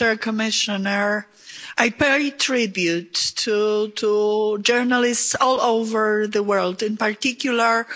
Madam President, I pay tribute to journalists all over the world, in particular